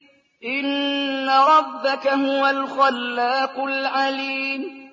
إِنَّ رَبَّكَ هُوَ الْخَلَّاقُ الْعَلِيمُ